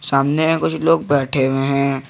सामने है कुछ लोग बैठे हुए हैं।